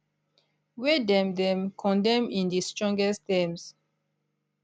wey dem dem condemn in di strongest terms